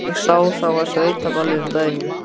Ég sá þá á sveitaballi um daginn.